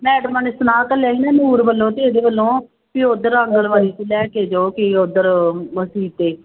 ਮੈਡਮਾਂ ਨੇ ਨੂਰ ਵੱਲੋਂ ਤੇ ਇਹਦੇ ਵੱਲੋਂ ਵੀ ਉੱਧਰ ਆਂਗਨਵਾੜੀ ਚ ਹੀ ਲੈ ਕੇ ਜਾਓ ਕਿ ਉੱਧਰ ਅਸੀਂ ਤੇ